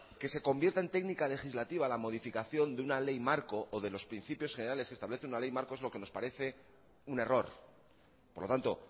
que se convierta en técnica legislativa la modificación de una ley marco o de los principios generales que establece una ley marco es lo que nos parece un error por lo tanto